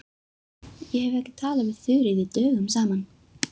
Ég hef ekki talað við Þuríði dögum saman.